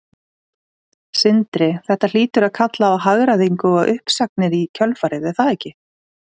Sindri: Þetta hlýtur að kalla á hagræðingu og uppsagnir í kjölfarið er það ekki?